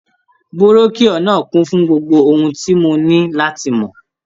Búrọ́kíọ̀ náà kún fún gbogbo ohun tí mo ní láti mọ̀.